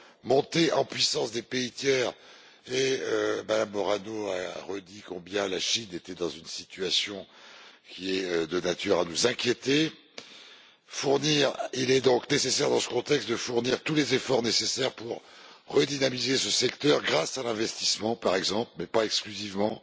montée en puissance des pays tiers Mme Morano a redit combien la Chine était dans une situation de nature à nous inquiéter. Il est donc nécessaire, dans ce contexte, de fournir tous les efforts nécessaires pour redynamiser ce secteur grâce à l'investissement, par exemple mais pas exclusivement